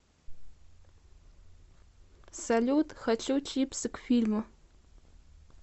салют хочу чипсы к фильму